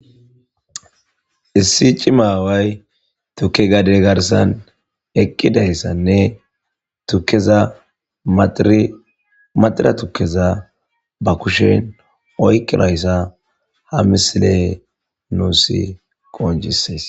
issi cima aaway tukke gade garsan eqqidayssanne tukeza maxiri maxira tukkeza ba kushen oykkirayssa ha misile nuus qoncsses.